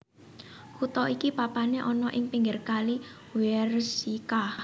Kutha iki papané ana ing pinggir kali Wierzyca